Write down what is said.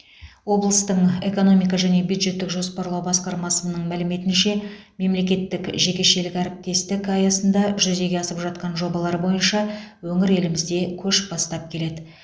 облыстың экономика және бюджеттік жоспарлау басқармасының мәліметінше мемлекеттік жекешелік әріптестік аясында жүзеге асып жатқан жобалар бойынша өңір елімізде көш бастап келеді